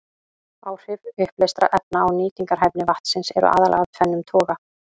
Áhrif uppleystra efna á nýtingarhæfni vatnsins eru aðallega af tvennum toga.